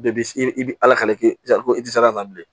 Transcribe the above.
Bɛɛ bi i bi ala ka k'i sago ye ko i ti se ka na bilen